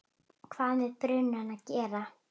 hvað með brunann að gera.